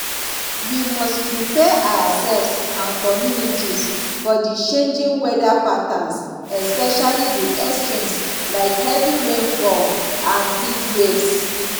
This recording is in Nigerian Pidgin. we must prepare ourselves and communities for di changing weather patterns especially di extremes like heavy rainfall and heatwaves